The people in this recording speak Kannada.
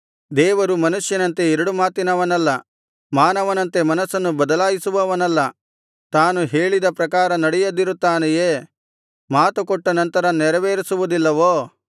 ದೇವರು ಮನುಷ್ಯನಂತೆ ಎರಡು ಮಾತಿನವನಲ್ಲ ಮಾನವನಂತೆ ಮನಸ್ಸನ್ನು ಬದಲಾಯಿಸುವವನಲ್ಲ ತಾನು ಹೇಳಿದ ಪ್ರಕಾರ ನಡೆಯದಿರುತ್ತಾನೆಯೇ ಮಾತುಕೊಟ್ಟ ನಂತರ ನೆರವೇರಿಸುವುದಿಲ್ಲವೋ